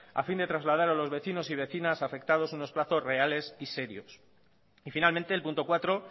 a fin de trasladar a los vecinos y vecinas afectados unos plazos reales y serios y finalmente el punto cuatro